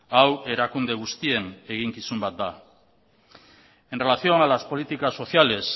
hau erakunde guztien eginkizun bat da en relación a las políticas sociales